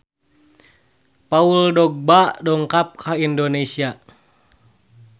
Paul Dogba dongkap ka Indonesia